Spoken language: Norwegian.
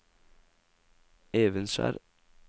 Evenskjer